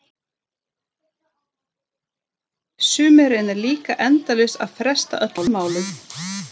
Sumir reyna líka endalaust að fresta öllum málum.